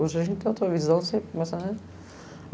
Hoje a gente tem outra visão sempre, mas, né?